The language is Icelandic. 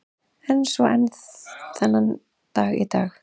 Er svo enn þann dag í dag.